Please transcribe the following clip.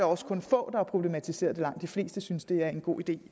også kun få der har problematiseret det langt de fleste synes det er en god idé